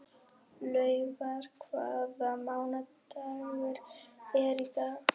Laufar, hvaða mánaðardagur er í dag?